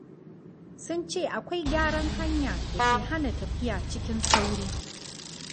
Sun ce akwai gyaran hanya da ke hana tafiya cikin sauri.